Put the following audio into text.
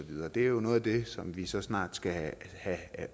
og det er jo noget af det som vi så snart skal